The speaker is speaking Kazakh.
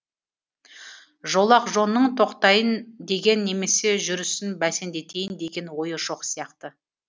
жолақжонның тоқтайын деген немесе жүрісін бәсеңдетейін деген ойы жоқ сияқты